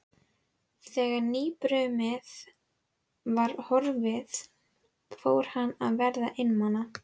Hún blóm í eggi á ríkmannlegu heimili.